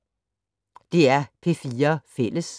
DR P4 Fælles